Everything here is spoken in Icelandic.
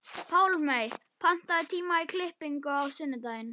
Pálmey, pantaðu tíma í klippingu á sunnudaginn.